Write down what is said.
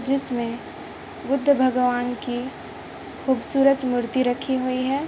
जिसमें बुद्ध भगवान की खूबसूरत मूर्ति रखी हुई है।